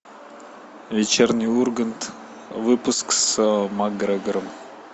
вечерний ургант выпуск с макгрегором